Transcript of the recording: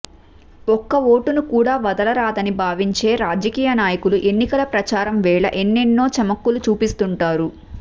ఒక్క ఓటును కూడా వదలరాదని భావించే రాజకీయ నాయకులు ఎన్నికల ప్రచారం వేళ ఎన్నెన్నో చమక్కులు చూపిస్తుంటారు